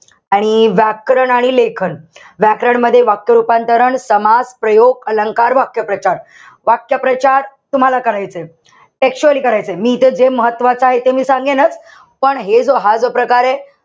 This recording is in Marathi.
आणि व्याकरण आणि लेखन. व्याकरण मध्ये, वाक्य रूपांतरण, संवाद, प्रयोग, अलंकार, वाक्यप्रचार. वाक्यप्रचार तुम्हाला करायचेत. Textually करायचंय. मी इथे जे महत्वाचंय ते मी सांगेनच. पण हे जो हा जो प्रकारे,